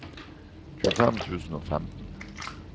tjuefem tusen og femten